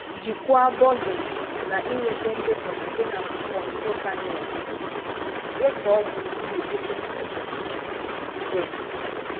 Jikwaa Bugging na ịnweta ndekọ site na Control Panel gi. Dekọọ gburugburu ekwentị gị. gị.